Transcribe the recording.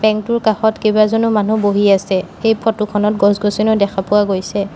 Bank টোৰ কাষত কেইবাজনো মানুহ বহি আছে এই ফটো খনত গছ গছনিও দেখা পোৱা গৈছে।